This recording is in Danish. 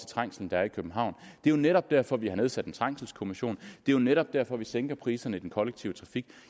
trængsel der er i københavn det er jo netop derfor vi har nedsat trængselskommissionen det er jo netop derfor vi sænker priserne i den kollektive trafik